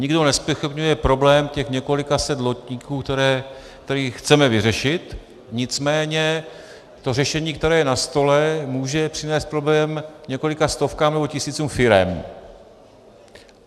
Nikdo nezpochybňuje problém těch několika set lodníků, který chceme vyřešit, nicméně to řešení, které je na stole, může přinést problém několika stovkám nebo tisícům firem.